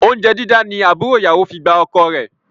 Oúnjẹ dídá ni àbúrò ìyàwó fi gba ọkọ rẹ